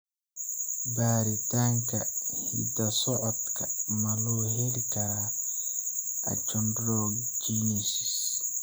Baaritaanka hidda-socodka ma loo heli karaa achondrogenesis?